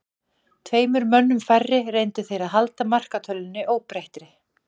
Tveimur mönnum færri reyndu þeir að halda markatölunni óbreyttri.